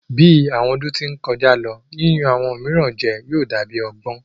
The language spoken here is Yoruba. Bi awọn ọdun ti n kọja lo, yiyan awọn miiran jẹ yóò da bi ọgbọn